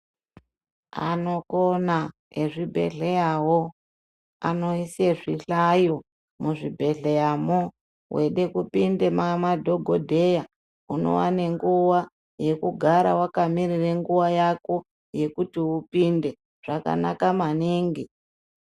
Anokona ezvibhedhleyawo, anoise zvihlayo muzvibhedhleyamwo. Weide kupinde mamadhogodheya, unowane nguwa yekugara wakamirire nguwa yako yekuti upinde. Zvakanaka maningi.